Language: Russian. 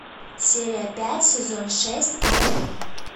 серия пять сезон шесть орлы